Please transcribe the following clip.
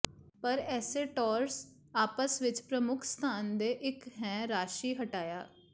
ਪਰ ਇਸੇ ਟੌਰਸ ਆਪਸ ਵਿੱਚ ਪ੍ਰਮੁੱਖ ਸਥਾਨ ਦੇ ਇੱਕ ਹੈ ਰਾਸ਼ੀ ਹਟਾਇਆ